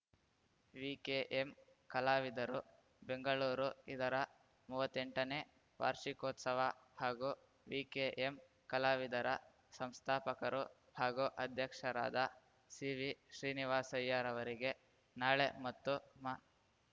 ವಿಕೆ M ಕಲಾವಿದರು ಬೆಂಗಳೂರು ಇದರ ಮುವ್ವತ್ತೆಂಟನೇ ವಾರ್ಷಿಕೋತ್ಸವ ಹಾಗೂ ವಿಕೆಎಂ ಕಲಾವಿದರ ಸಂಸ್ಥಾಪಕರು ಹಾಗೂ ಅಧ್ಯಕ್ಷರಾದ ಸಿವಿ ಶ್ರೀನಿವಾಸಯ್ಯರವರಿಗೆ ನಾಳೆ ಮತ್ತು ಮಾ